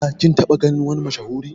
Ka /kin taba ganin wani mashahuri?